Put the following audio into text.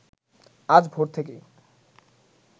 আজ ভোর থেকেই